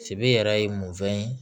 yɛrɛ ye mun fɛn ye